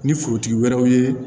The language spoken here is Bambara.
Ni forotigi wɛrɛw ye